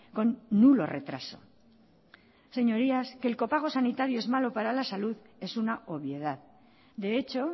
con nulo retraso señorías que el copago sanitario es malo para la salud es una obviedad de hecho